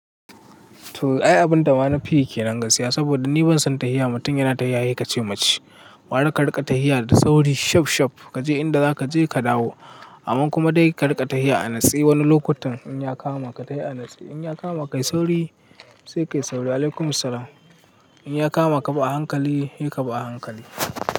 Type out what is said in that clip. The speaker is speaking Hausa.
To ai abunda ma nafi yi kenan gaskiya saboda ni ban san tahiya mutum yana tahiya sai kace mace. Gwara ka riƙa tahiya da sauri shaf shaf kaje inda zaka je ka dawo. Amman kuma dai ka riƙa tahiya a natse wani lokutan in ya kama ka tahi a natse. In ya kama ka yi sauri sai kayi sauri. Alaikum salam. In ya kama ka bi a hankali, se ka bi a hankali.